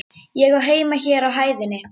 Ég á heima hér á hæðinni.